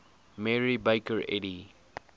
mary baker eddy